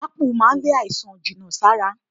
Ápù máa ń lé àìsàn jìnà sára